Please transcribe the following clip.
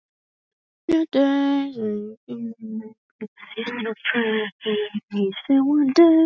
Þú átt eftir að sannreyna það.